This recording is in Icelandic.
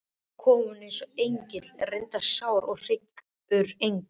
Svo kom hún einsog engill, reyndar sár og hryggur engill.